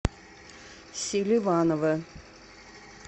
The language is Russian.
селиванова